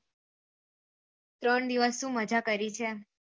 ત્રણ દિવસ ની મજા કરી છે